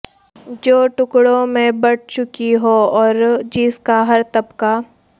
جو ٹکڑوں میں بٹ چکی ہو اور جس کا ہر طبقہ